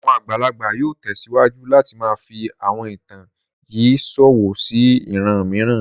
Àwọn àgbàlagbà yóò tẹsiwaju láti máa fi àwọn ìtàn yìí ṣọwọ́ sí ìran mìíràn.